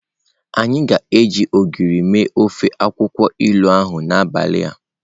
Anyi ga-eji Ogiri mee ofe akwukwo ilu ahu n'abali a.